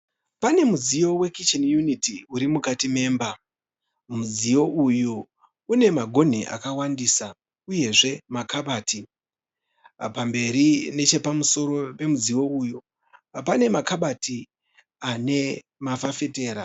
Pane mudziyo we kicheni uniti uri mukati memba. Mudziyo uyu une magonhi akawandisa uyezve makabati. Pamberi nechepamusoro pemudziyo uyu pane makabati ane mafafitera.